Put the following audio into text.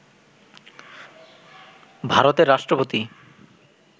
ভারতের রাষ্ট্রপতি